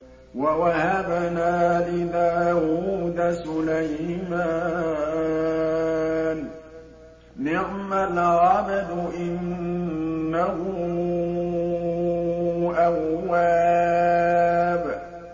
وَوَهَبْنَا لِدَاوُودَ سُلَيْمَانَ ۚ نِعْمَ الْعَبْدُ ۖ إِنَّهُ أَوَّابٌ